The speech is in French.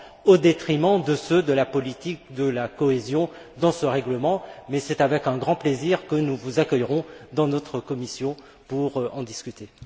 au détriment de ceux de la politique de la cohésion dans ce règlement, mais c'est avec un grand plaisir que nous vous accueillerons dans notre commission pour en discuter.